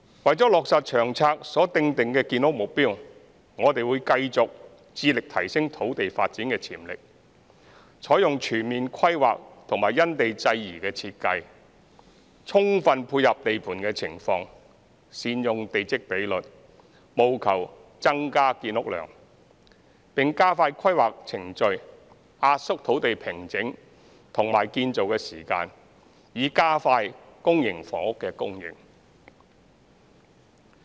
為落實《長策》所訂定的建屋目標，我們會繼續致力提升土地發展潛力，採用全面規劃和因地制宜的設計，充分配合地盤情況、善用地積比率，務求增加建屋量，並加快規劃程序，壓縮土地平整和建造時間，以加快公營房屋供應。